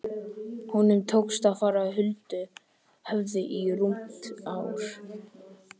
Honum tókst að fara huldu höfði í rúmt ár.